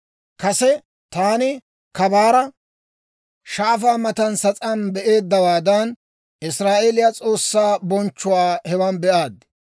Kase taani kabaara shaafaa matan sas'aan be'eeddawaadan, Israa'eeliyaa S'oossaa bonchchuwaa hewan be'aad.